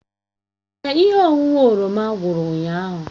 Èè, ihe ọṅụṅụ oroma gwụrụ ụnyahụ